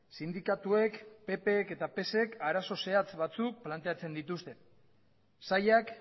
sindikatuek ppk eta psek arazo zehatz batzuk planteatzen dituzte sailak